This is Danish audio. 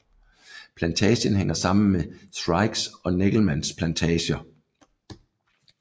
Plantagen hænger sammen med Skrikes og Neckelmanns plantager